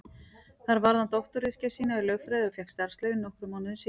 Þar varði hann doktorsritgerð sína í lögfræði og fékk starfsleyfi nokkrum mánuðum síðar.